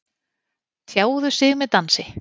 Tjáðu sig með dansi